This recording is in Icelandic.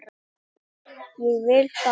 Myndi ég vilja fara?